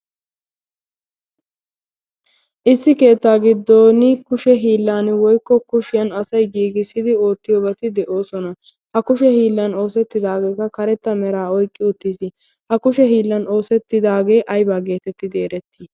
issi keettaa giddoon kushe hiillan woykko kushiyaan asay giigissidi ootiyoobati de"oosona. ha kushe hiillan oosettidaagekka karetta meraa oyqqi uttiis. ha kushe hiillaan oosettidagee aybaa geetettidi erettii?